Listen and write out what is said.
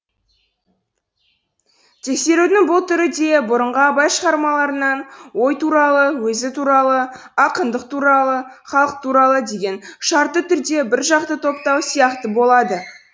тексерудің бұл түрі де бұрынғы абай шығармаларынан ой туралы өзі туралы ақындық туралы халық туралы деген шартты түрдегі бір жақты топтау сияқты болады